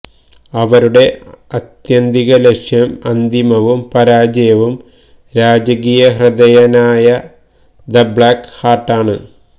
അവരുടെ ആത്യന്തിക ലക്ഷ്യം അന്തിമവും പരാജയവും രാജകീയഹൃദയനായ ദ ബ്ലാക്ക് ഹാർട്ട് ആണ്